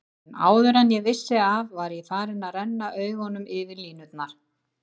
En áður en ég vissi af var ég farinn að renna augunum yfir línurnar.